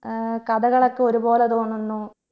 ഏർ കഥകളൊക്കെ ഒരുപോലെ തോന്നുന്നു